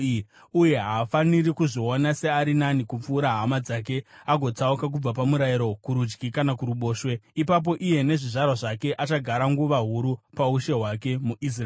Uye haafaniri kuzviona seari nani kupfuura hama dzake agotsauka kubva pamurayiro kurudyi kana kuruboshwe. Ipapo iye nezvizvarwa zvake achagara nguva huru paushe hwake muIsraeri.